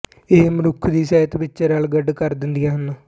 ਇਹ ਮਨੁੱਖ ਨੂੰ ਸਾਹਿਤ ਵਿੱਚ ਰਲਗੱਡ ਕਰ ਦਿੰਦੀਆਂ ਹਨ